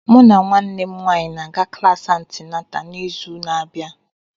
Mụ na nwanne m nwanyị ga-aga klasi antịnátà n'izu na-abịa